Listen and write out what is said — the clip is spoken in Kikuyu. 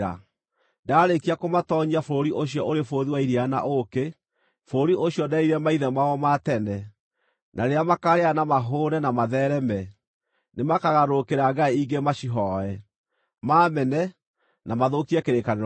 Ndaarĩkia kũmatoonyia bũrũri ũcio ũrĩ bũthi wa iria na ũũkĩ, bũrũri ũcio nderĩire maithe mao ma tene, na rĩrĩa makaarĩa na mahũũne na matheereme, nĩmakagarũrũkĩra ngai ingĩ macihooe, maamene na mathũkie kĩrĩkanĩro gĩakwa.